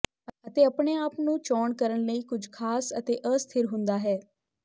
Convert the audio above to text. ਅਤੇ ਆਪਣੇ ਆਪ ਦੀ ਚੋਣ ਕਰਨ ਲਈ ਕੁਝ ਖਾਸ ਕਦੇ ਅਸਥਿਰ ਹੁੰਦਾ ਹੈ